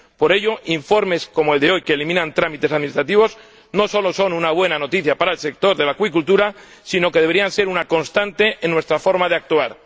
Por ello, informes como el de hoy, que eliminan trámites administrativos, no solo son una buena noticia para el sector de la acuicultura, sino que deberían ser una constante en nuestra forma de actuar.